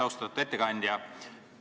Austatud ettekandja!